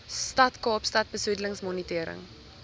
stad kaapstad besoedelingsmonitering